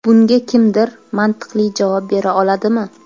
Bunga kimdir mantiqli javob bera oladimi?